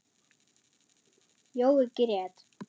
Jói grét.